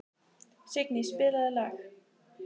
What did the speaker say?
Signý, spilaðu lag.